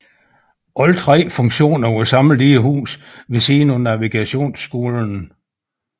Alle tre funktioner var samlet i et hus ved siden af Navigationsskolen